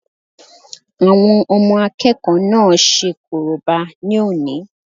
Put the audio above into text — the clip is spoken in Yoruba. Àwọn ọmọ àkẹ́kọ̀ọ́ náà ṣe korobá ní òní